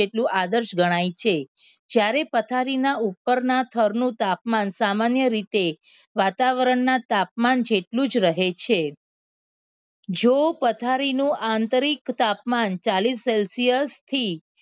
જ્યારે પથારીમાં ઉપરના સ્થળનું તાપમાન સામાન્ય રીતે વાતાવરણના તાપમાન જેટલું જ રહે છે જો પથારી નું આંતરિક તાપમાન ચાલીસ celsius થી